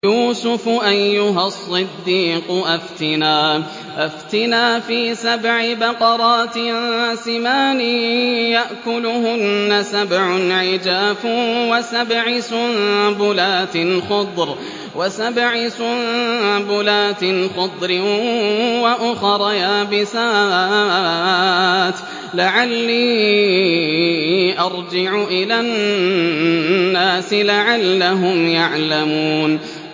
يُوسُفُ أَيُّهَا الصِّدِّيقُ أَفْتِنَا فِي سَبْعِ بَقَرَاتٍ سِمَانٍ يَأْكُلُهُنَّ سَبْعٌ عِجَافٌ وَسَبْعِ سُنبُلَاتٍ خُضْرٍ وَأُخَرَ يَابِسَاتٍ لَّعَلِّي أَرْجِعُ إِلَى النَّاسِ لَعَلَّهُمْ يَعْلَمُونَ